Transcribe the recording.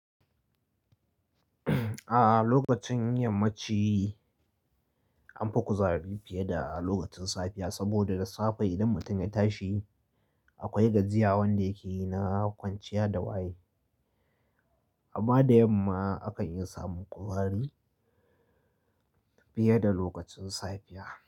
A lokacin yammaci anfi kuzari fiye da a lokacin safiya, sabida da safe idan mutum ya tashi akwai gajiya wanda yakeyi na kwanciya da waye. Amma da yamma akan iya samun kuzari fiye da lokacin safiya.